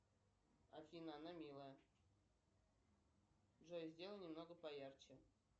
афина она милая джой сделай немного поярче